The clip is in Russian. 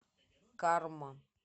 карма